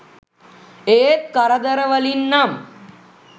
ඒත් කරදර වලින් නම්